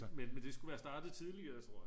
men det skulle være startet tidligere tror jeg